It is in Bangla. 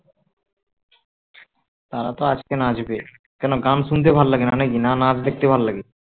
তারা তো আজকে নাচবে কেন গান শুনতে ভালো লাগে না নাকি না নাচ দেখতে ভালো লাগে